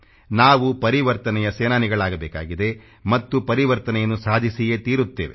ನಾವು ಪರಿವರ್ತನೆಯ ಸೇನಾನಿಗಳಾಗಬೇಕಿದೆ ಮತ್ತು ಪರಿವರ್ತನೆಯನ್ನು ಸಾಧಿಸಿಯೇ ತೀರುತ್ತೇವೆ